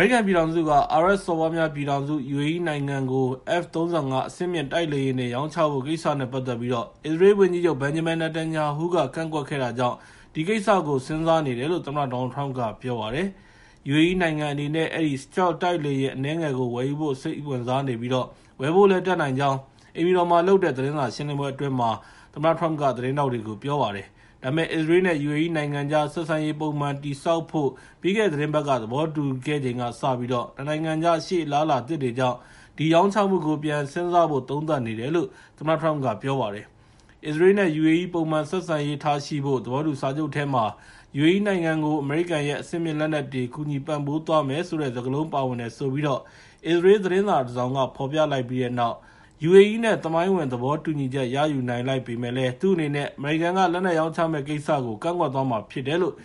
ရိကန်ပြည်ထောင်စုက အာရပ်စော်ဘွားများပြည်ထောင်စု UAE နိုင်ငံကို F-35 အဆင့်မြင့် တိုက်လေယာဉ်တွေ ရောင်းချဖို့ကိစ္စနဲ့ ပတ်သက်ပြီး အစ္စရေးလ်ဝန်ကြီးချုပ် ဘန်ဂျမင်နာတန်ညာဟူးက ကန့်ကွက်ခဲ့တာကြောင့် ဒီကိစ္စကို စဉ်းစားနေတယ်လို့ သမ္မတ ဒေါ်နယ်လ်ထရမ့်က ပြောပါတယ်။ UAE နိုင်ငံအနေနဲ့ အဲဒီ Stealth တိုက်လေယာဉ် အနည်းငယ်ကို ဝယ်ယူဖို့ စိတ်ဝင်စားနေပြီး ဝယ်ဖို့လည်းတတ်နိုင်ကြောင်း၊ အိမ်ဖြူတော်မှာ ပြုလုပ်တဲ့ သတင်းစာရှင်းလင်းပွဲအတွင်း သတင်းထောက်တွေကို ပြောပါတယ်။ ဒါပေမဲ့ အစ္စရေး နဲ့ UAE နိုင်ငံကြား ဆက်ဆံရေးပုံမှန်တည်ဆောက်ဖို့ ပြီးခဲ့တဲ့ သီတင်းပတ်က သဘောတူခဲ့ချိန်ကစပြီး နှစ် နိုင်ငံကြား ရှေ့အလားအလာသစ်တွေကြောင့် ဒီရောင်းချမှုကို ပြန်စဉ်းစားသုံးသပ်နေတယ်လို့ သမ္မတထရမ့်က ပြောပါတယ်။ အစ္စရေးလ်နဲ့ ယူအေအီး ပုံမှန်ဆက်ဆံရေးထားရှိဖို့ သဘောတူစာချုပ်ထဲမှာ ယူအေအီးနိုင်ငံကို အမေရိကန်ရဲ့ အဆင့်မြင့်လက်နက်တွေ ကူညီပံ့ပိုးသွားမယ်ဆိုတဲ့ စကားလုံးပါဝင်တယ်ဆိုပြီး အစ္စရေးလ်သတင်း စာတစောင်က ဖော်ပြလိုက်ပြီးတဲ့နောက် ယူအေအီးနဲ့ သမိုင်းဝင် သဘောတူညီချက် ရယူနိုင်လိုက်ပေမဲ့လည်း သူအနေနဲ့ အမေရိကန်က လက်နက်ရောင်းချမယ့်ကိစ္စကို ကန့်ကွက်သွားမှာဖြစ်တယ်လို့